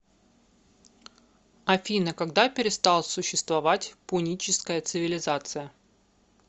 афина когда перестал существовать пуническая цивилизация